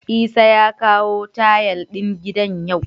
Isah ya kawo tayal din gidan yau?